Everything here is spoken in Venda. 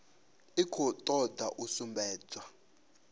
i khou toda u sumbedza